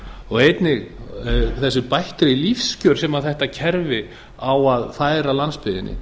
og einnig þessi bættu lífskjör sem þetta kerfi á að færa landsbyggðinni